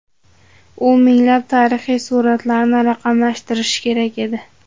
U minglab tarixiy suratlarni raqamlashtirishi kerak edi.